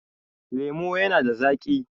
lemo yana da zaki